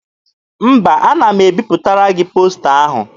Mba, ana m ebipụtara gị posta ahụ.